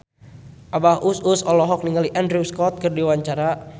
Abah Us Us olohok ningali Andrew Scott keur diwawancara